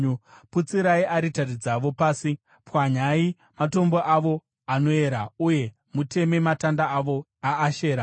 Putsirai aritari dzavo pasi, pwanyai matombo avo anoyera uye muteme matanda avo aAshera.